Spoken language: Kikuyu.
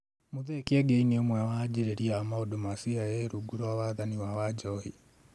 Mũthee Kiengei nĩ ũmwe wa anjĩrĩria a maũndũ ma CIA rungu rwa wathani wa Wanjohi